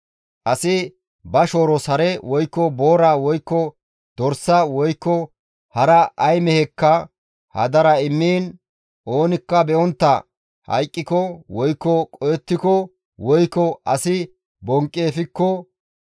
«Asi ba shooros hare, woykko boora, woykko dorsa, woykko hara ay mehekka hadara immiin oonikka be7ontta hayqqiko, woykko qohettiko, woykko asi bonqqi efikko,